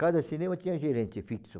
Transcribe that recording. Cada cinema tinha gerente fixo.